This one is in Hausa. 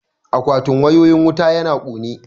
Akwatin wayoyin wuta yana kone